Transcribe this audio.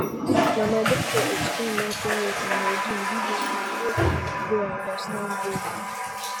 na my doctor explain menstrual health and hygiene give me in a way wey i understand well